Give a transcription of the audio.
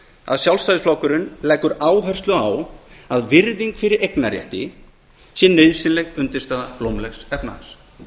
að sjálfstæðisflokkurinn leggur áherslu á að virðing fyrir eignarrétti sé nauðsynleg undirstaða blómlegs efnahags